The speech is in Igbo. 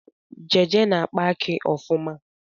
Jeje na-akpa akị ọfụma